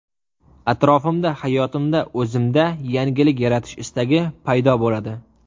Atrofimda, hayotimda, o‘zimda yangilik yaratish istagi paydo bo‘ladi.